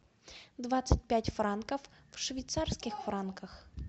двадцать пять франков в швейцарских франках